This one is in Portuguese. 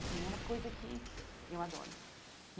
Assim É uma coisa que eu adoro.